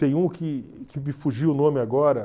Tem um que que me fugiu o nome agora.